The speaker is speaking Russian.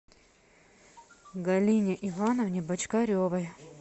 галине ивановне бочкаревой